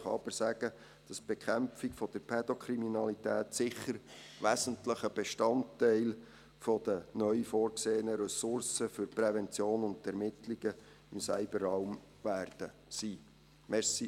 Ich kann aber sagen, dass die Bekämpfung der Pädokriminalität sicher wesentlicher Bestandteil des Einsatzes der neu vorgesehenen Ressourcen für die Prävention und die Ermittlungen im Cyberraum sein wird.